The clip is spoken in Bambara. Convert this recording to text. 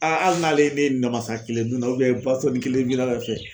hali n'ale ne ye namasa kelen dunna nin kelen minna